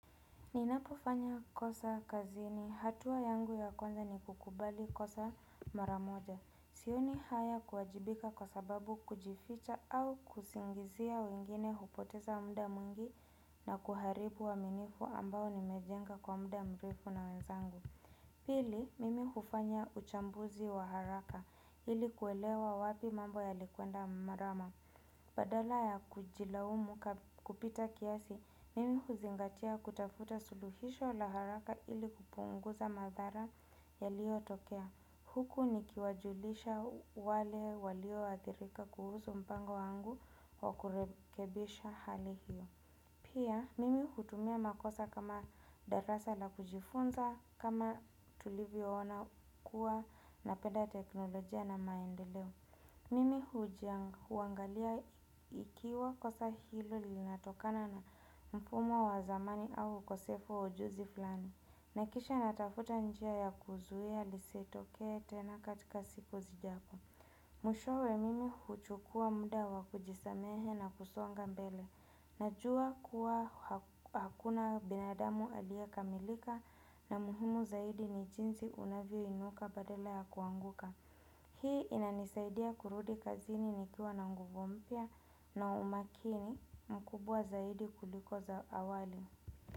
Ninapofanya kosa kazini, hatua yangu ya kwanza ni kukubali kosa maramoja. Sioni haya kuwajibika kwa sababu kujificha au kusingizia wengine hupoteza muda mwingi na kuharibu uaminifu ambao nimejenga kwa muda mrefu na wenzangu. Pili, mimi hufanya uchambuzi wa haraka, ili kuelewa wapi mambo ya likwenda mrama. Badala ya kujilaumu kupita kiasi, mimi huzingatia kutafuta suluhisho la haraka ili kupunguza madhara yaliyotokea. Huku nikiwajulisha wale walioathirika kuhusu mpango wangu wa kurekebisha hali hiyo. Pia, mimi hutumia makosa kama darasa la kujifunza kama tulivyoona kuwa napenda teknolojia na maendeleo. Mimi hujia huangalia ikiwa kosa hilo linatokana na mfumo wa zamani au ukosefu wa ujuzi fulani. Nahakikisha natafuta njia ya kuzuia lisitokee tena katika siku zijazo. Mwishowe mimi huchukua muda wa kujisamehe na kusonga mbele. Najua kuwa hakuna binadamu aliyekamilika na muhimu zaidi ni jinsi unavyoinuka badala ya kuanguka. Hii inanisaidia kurudi kazini nikiwa na nguvu mpya na umakini mkubwa zaidi kuliko za awali.